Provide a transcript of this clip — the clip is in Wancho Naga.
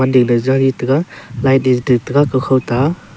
dig le jau e tega light te ding tega kokho to aa.